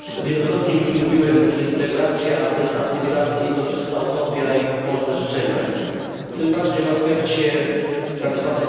Wielokrotnie już mówiłem, że integracja bez asymilacji to czysta utopia i pobożne życzenia, tym bardziej w aspekcie tzw.